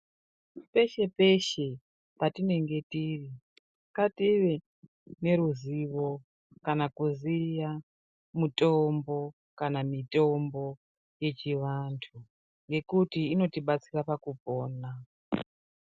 Peshe peshe patinenge tiri ngative neruzivo kana kuziya mutombo kana mitombo yechivantu ngekuti inotibatsira pakupona.